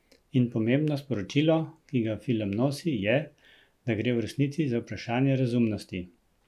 In pomembno sporočilo, ki ga film nosi, je, da gre v resnici za vprašanje razumnosti.